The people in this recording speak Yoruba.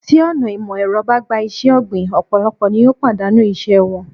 Tí ọ̀nà ìmò èrọ bá gba iṣé ọ̀gbìn, ọ̀pọ̀lọpọ̀ ni yóò pàdánù ìṣe wọn.